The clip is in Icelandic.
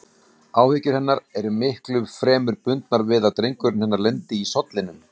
Áhyggjur hennar eru miklu fremur bundnar við að drengurinn hennar lendi í sollinum.